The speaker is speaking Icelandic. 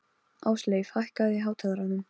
Ásleif, hækkaðu í hátalaranum.